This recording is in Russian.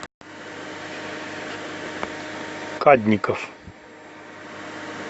кадников